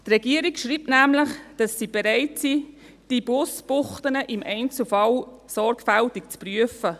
Die Regierung schreibt nämlich, dass sie bereit ist, die Busbuchten im Einzelfall sorgfältig zu prüfen.